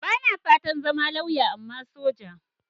Ba na fatan zama lauya, amma soja.